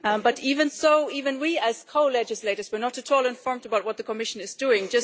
But even so, even we as co legislators are not at all informed about what the Commission is doing.